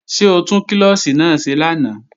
Ṣé o tún klọ́ọ̀ṣì náà ṣe lánàá?